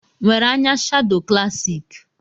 Nwere anya shado klassik?